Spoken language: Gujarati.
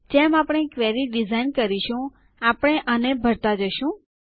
જેમ આપણે ક્વેરી ડીઝાઇન કરીશું આપણે આને ભરતાં જશું